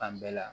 An bɛɛ la